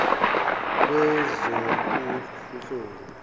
lwezobunhloli